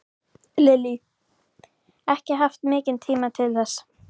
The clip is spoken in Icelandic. Lillý: Ekki haft mikinn tíma til þess?